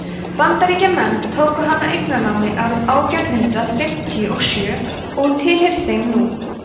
bandaríkjamenn tóku hana eignarnámi árið átján hundrað fimmtíu og sjö og hún tilheyrir þeim nú